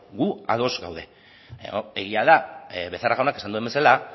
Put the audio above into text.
gu ados gaude egia da becerra jaunak esan duen bezala